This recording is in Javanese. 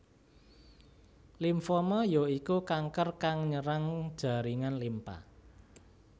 Limfoma ya iku kanker kang nyerang jaringan limpa